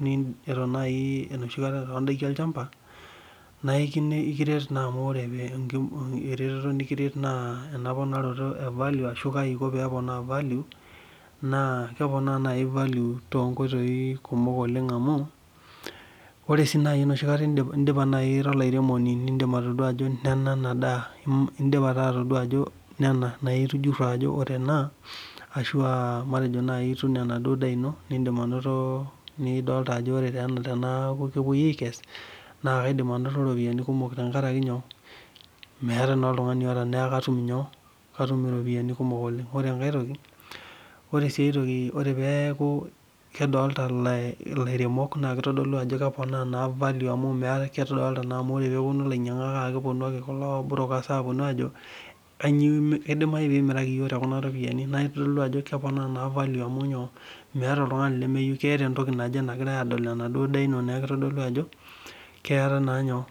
nai enoshikata tondakin olchamba naikiret na amu ore eretoto nikiret na emponikinoto e value kaiko peponaa value na kepona value tonkoitoi kumok oleng amu ore si enoshikata ira olaremoni indipa atadua ajo nena enadaa indip taa atadua ajo nena na itujuro ajo ore ena ashu aa ituuno enaduo daa ino nindim ainoto nidolita ajo ore tena na kaidim ainoto ropiyani kumok tenkaraki nyoo na katum iropiyiani kumok ore enkae ore peaku kedolta laremok na kitodolu ajo keponaa value naa kedolta lainyangak amu ore peponu kulo burokers aponu ajo idimai peimiraki yiok tekuna ropiyani na kitodolu ajo keponaa naa value amu meeta oltungani lemeyiueu adol enaduo daa ino neaeaku kitadolu ajo keeta naaa nyoo